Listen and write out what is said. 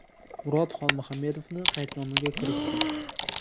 Murod Xolmuhammedovni qaydnomaga kiritdik.